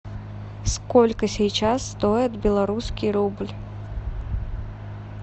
сколько сейчас стоит белорусский рубль